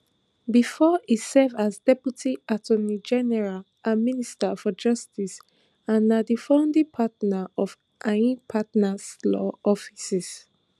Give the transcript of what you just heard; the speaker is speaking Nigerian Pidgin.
bifor e serve as deputy attorney general and minister for justice and na di founding partner of ayine partners law offices